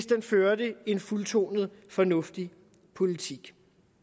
den førte en fuldtonet fornuftig politik